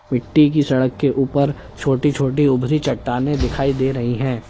मिट्टी की सड़क के ऊपर छोटी छोटी उभरी चट्टानें दिखाई दे रही हैं।